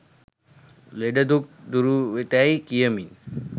ලෙඩ දුක් දුරුවෙතැයි කියමින්